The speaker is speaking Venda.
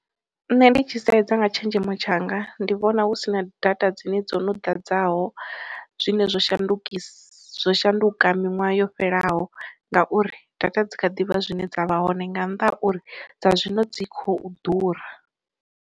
Nṋe ndi tshi sedza nga tshenzhemo tshanga, ndi vhona hu sina data dzine dzo no ḓadzaho zwine zwo shandukisa zwo shanduka miṅwaha yo fhelelaho ngauri data dzi kha ḓivha zwine dza vha hone nga nnḓa ha uri dza zwino dzi khou ḓura.